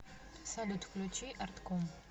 салют включи артком